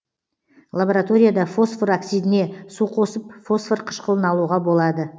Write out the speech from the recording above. лабораторияда фосфор оксидіне су қосып фосфор кышкылын алуға болады